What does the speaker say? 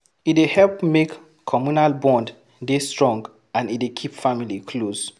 E dey help make communal bond dey strong and e dey keep family close